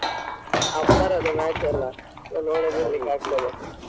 ಅಬ್ಬರದ match ಅಲ್ಲ ನೋಡದೆ ಇರ್ಲಿಕ್ಕಾಗ್ತದಾ?